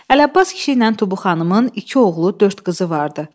Əlabbas kişi ilə Tubu xanımın iki oğlu, dörd qızı vardı.